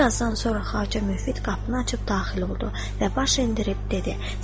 Bir azdan sonra Xacə Mövfiq qapını açıb daxil oldu və baş endirib dedi: